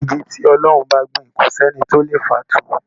Igi tí Ọlọ́run bá gbìn kò sí ẹni tó lè fà á tú.